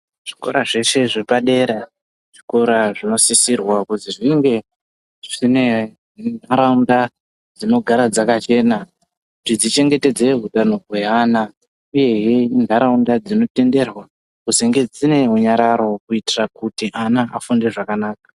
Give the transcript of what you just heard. Zvikora zveshe zvepadera zvikora zvinosisirwa kuzi zvinge zvine nharaunda dzinogara dzakachena kuti dzichengetedze utano hweana. Uyezve inharaunda dzinotenderwa kuzenge dzine runyararo kuitira kuti ana afunde zvakanaka.